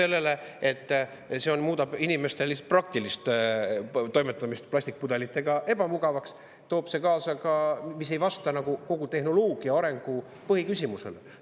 Esiteks, see muudab inimeste praktilise toimetamise plastpudelitega ebamugavaks ja seega ei vasta see kogu tehnoloogia arendamise põhiküsimusele.